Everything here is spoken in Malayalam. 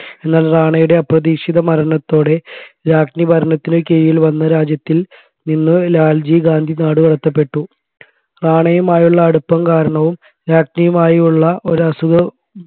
എന്നാൽ റാണയുടെ അപ്രതീക്ഷിത മരണത്തോടെ രാജ്ഞി ഭരണത്തിലെ കീഴിൽ വന്ന രാജ്യത്തിൽ നിന്ന് ലാൽജി ഗാന്ധി നാടുകടത്തപെട്ടു റാണയുമായുള്ള അടുപ്പം കാരണവും രാജ്ഞിയുമായുള്ള ഒരസുഖ